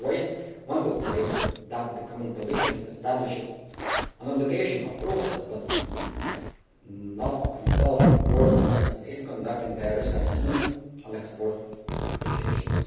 In a way one could claim that the common position establishes an obligation of process but not of result for Members States conducting risk assessments on export applications.